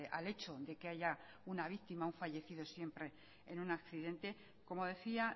al hecho de que haya una víctima un fallecido siempre en un accidente como decía